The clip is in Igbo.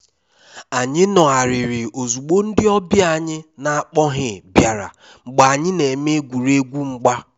anyị nọgharịrị ozugbo ndị ọbịa anyị n'akpoghi biara mgbe anyị na-eme egwuregwu mgba